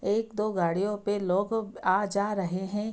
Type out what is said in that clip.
एक दो गाड़ियों पे लोग आ-जा रहे है।